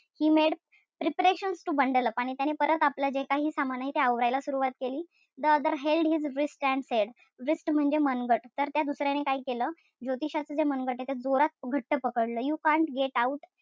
He made preparations to bundle up आणि परत आपलं जे काही सामान आहे ते आवरायला सुरवात केली. The other held his wrist and said wrist म्हणजे मनगट. तर त्या दुसर्याने काय केलं? ज्योतिषाच जे मनगट ए ते जोरात घट्ट पकडलं. You cant get out,